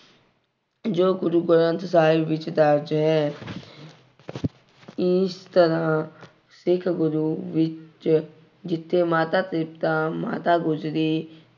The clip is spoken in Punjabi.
ਜੋ ਗੁਰੂ ਗ੍ਰੰਥ ਸਾਹਿਬ ਵਿੱਚ ਦਰਜ ਹੈ। ਇਸ ਤਰ੍ਹਾਂ ਸਿੱਖ ਗੁਰੂ ਵਿੱਚ ਜਿੱਥੇ ਮਾਤਾ ਤ੍ਰਿਪਤਾ, ਮਾਤਾ ਗੁਜ਼ਰੀ